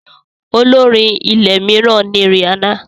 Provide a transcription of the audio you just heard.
Olórin ilẹ̀ mìíràn ni Rìhánà.